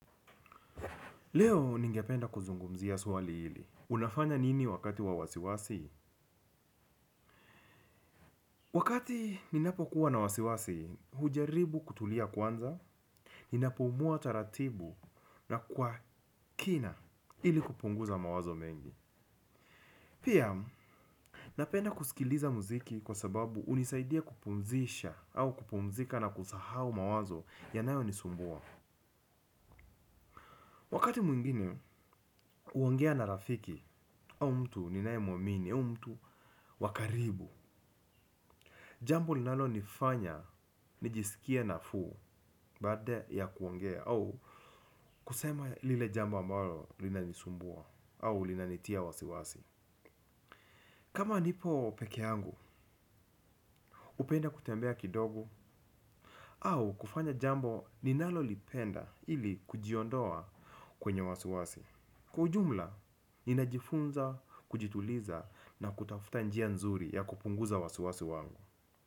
Leo ningependa kuzungumzia swali hili. Unafanya nini wakati wa wasiwasi? Wakati ninapokuwa na wasiwasi hujaribu kutulia kwanza ninapumua kwa utaratibu na kwa kina ili kupunguza mawazo mengi. Pia, napenda kusikiliza muziki kwa sababu hunisaidia kupumzisha au kupumzika na kusahau mawazo yanayo nisumbua. Wakati mwingine, huangea na rafiki au mtu ninaye mwamini, au mtu wa karibu. Jambo linalo nifanya nijisikiae nafuu baada ya kuongea au kusema lile jambo ambalo linanisumbua au linanitia wasiwasi. Kama nipo peke yangu hupenda kutembea kidogo au kufanya jambo ninalolipenda ili kujiondoa kwenye wasiwasi. Kwa ujumla, ninajifunza, kujituliza na kutafuta njia nzuri ya kupunguza wasiwasi wangu.